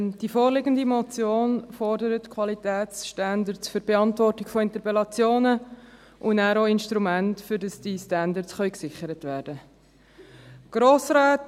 Die vorliegende Motion fordert Qualitätsstandards für die Beantwortung von Interpellationen und danach auch Instrumente dafür, dass diese Standards gesichert werden können.